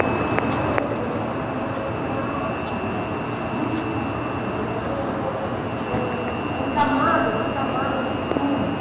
Então eu me lembro daquela mulher diáfana, muito magra, dançando na ponte dos pés, em camadas, em camadas de tule.